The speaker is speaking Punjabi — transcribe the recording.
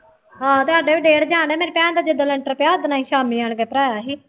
ਹਾਂ ਅਤੇ ਸਾਡੇ ਵੀ ਡੇਢ ਜਾਣ ਡਿਆ ਮੇਰੀ ਭੇਣ ਦਾ ਜਿ-ਦਿਨ ਲੈਂਟਰ ਪਿਆ ਉਹ ਦਿਨ ਅਸੀਂ ਸ਼ਾਮੀ ਆਣ ਕੇ ਭਰਾਇਆਂ ਸੀ